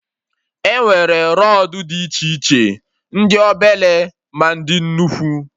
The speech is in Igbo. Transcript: Enwere rọdụ dị iche iche, ndị obele, ma ndị nnukwu